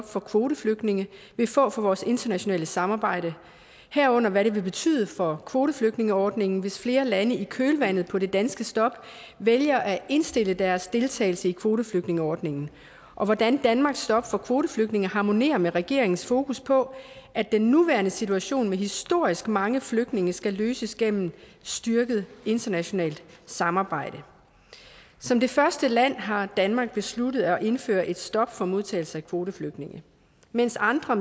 for kvoteflygtninge vil få for vores internationale samarbejde herunder af hvad det vil betyde for kvoteflygtningeordningen hvis flere lande i kølvandet på det danske stop vælger at indstille deres deltagelse i kvoteflygtningeordningen og af hvordan danmarks stop for kvoteflygtninge harmonerer med regeringens fokus på at den nuværende situation med historisk mange flygtninge skal løses gennem styrket internationalt samarbejde som det første land har danmark besluttet at indføre et stop for modtagelse af kvoteflygtninge mens andre